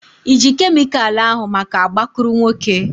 Ị ji kemịkalụ ahu maka agbakụrụnwokē?